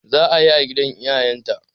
Za'a yi a gidan iyayen ta